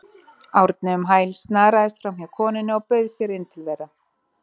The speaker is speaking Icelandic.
Árni um hæl, snaraðist framhjá konunni og bauð sér inn til þeirra.